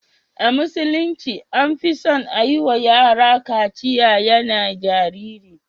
A musulunci an fi son a yi wa yara katsiya yana jariri.